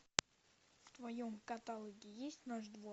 в твоем каталоге есть наш двор